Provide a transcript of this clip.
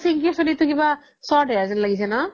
পিন্কিৰ চুলিতো কিবা short hair জেন লাগিছে ন